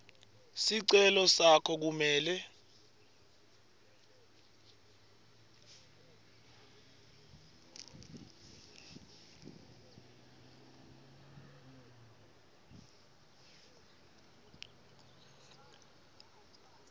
sicelo sakho kumele